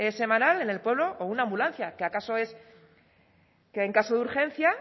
semanal en el pueblo o una ambulancia que en caso de urgencia